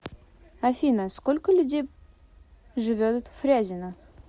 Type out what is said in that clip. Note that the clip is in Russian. афина сколько людей живет в фрязино